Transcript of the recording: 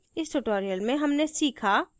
इस tutorial में हमने सीखा